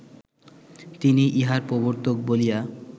তিনিই ইহার প্রবর্তক বলিয়া